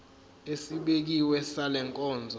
esibekiwe sale nkonzo